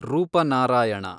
Rupnarayan